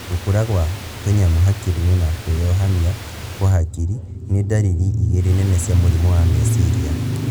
Gũkũra gwa tũnyamũ hakiri-inĩ na kwĩyohania kwa hakiri, nĩ ndariri igĩrĩ nene cia mũrimũ wa meciria